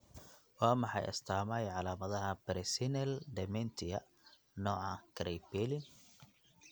Waa maxay astamaha iyo calaamadaha Presenile dementia, nooca Kraepelin?